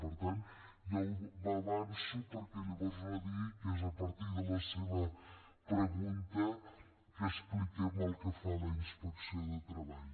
per tant ja m’avanço perquè llavors no digui que és a partir de la seva pregunta que expliquem el que fa la inspecció de treball